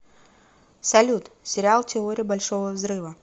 салют сериал теория большого взрыва